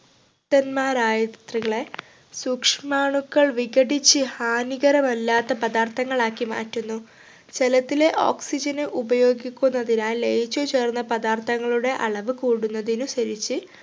തന്മാരായത്രികളെ സൂക്ഷ്മാണുക്കൾ വിഘടിച്ച് ഹാനികരമല്ലാത്ത പദാർത്ഥങ്ങൾ ആക്കി മാറ്റുന്നു ജലത്തിലെ oxygen നെ ഉപയോഗിക്കുന്നതിനാൽ ലയിച്ചു ചേർന്ന പദാർത്ഥങ്ങളുടെ അളവ് കൂടുന്നതിനനുസരിച്ച്‌